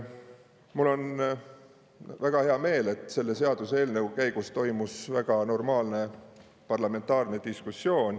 Mul on väga hea meel, et selle seaduseelnõu käigus toimus väga normaalne parlamentaarne diskussioon.